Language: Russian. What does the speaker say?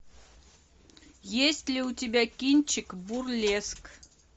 есть ли у тебя кинчик бурлеск